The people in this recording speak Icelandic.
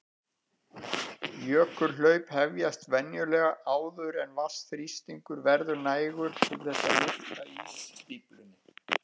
Jökulhlaup hefjast venjulega áður en vatnsþrýstingur verður nægur til þess að lyfta ísstíflunni.